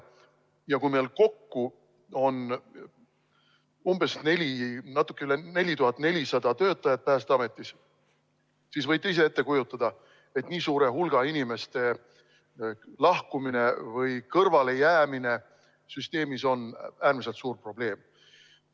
Ja kui meil kokku on umbes 4400 töötajat Päästeametis, siis võite ise ette kujutada, et nii suure hulga inimeste lahkumine või kõrvalejäämine süsteemist on äärmiselt suur probleem.